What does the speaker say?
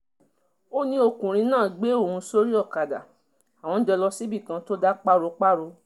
ó ní ọkùnrin náà gbé òun sórí ọ̀kadà àwọn jọ lọ síbì kan tó dá páropáro